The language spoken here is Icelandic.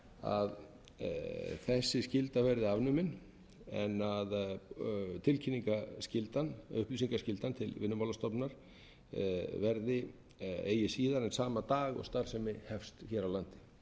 að þessi skylda verði afnumin en upplýsingaskyldan til vinnumálastofnunar verði eigi síðar en sama dag og starfsemi hefst hér á landi það er í stað þess að